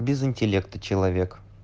без интеллекта человек